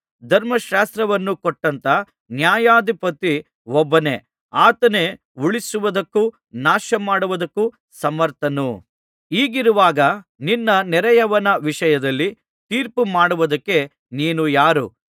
ಧರ್ಮಶಾಸ್ತ್ರವನ್ನು ಕೊಟ್ಟಂಥ ನ್ಯಾಯಾಧಿಪತಿ ಒಬ್ಬನೇ ಆತನೇ ಉಳಿಸುವುದಕ್ಕೂ ನಾಶಮಾಡುವುದಕ್ಕೂ ಸಮರ್ಥನು ಹೀಗಿರುವಾಗ ನಿನ್ನ ನೆರೆಯವನ ವಿಷಯದಲ್ಲಿ ತೀರ್ಪುಮಾಡುವುದಕ್ಕೆ ನೀನು ಯಾರು